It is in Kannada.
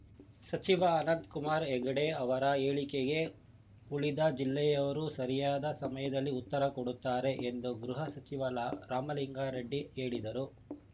ಸಚಿವ ಅನಂತಕುಮಾರ್‌ ಹೆಗಡೆ ಅವರ ಹೇಳಿಕೆಗೆ ಉಳಿದ ಜಿಲ್ಲೆಯವರು ಸರಿಯಾದ ಸಮಯದಲ್ಲಿ ಉತ್ತರ ಕೊಡುತ್ತಾರೆ ಎಂದು ಗೃಹ ಸಚಿವ ಲ ರಾಮಲಿಂಗಾರೆಡ್ಡಿ ಹೇಳಿದರು